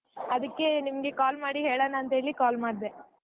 ಅದಕ್ಕೆ ನಿಮ್ಗೆ call ಮಾಡಿ ಹೇಳಣಾ ಅಂತ ಹೇಳಿ call ಮಾಡ್ದೆ.